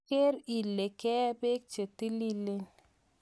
Ker ile ke ee peek che tililen .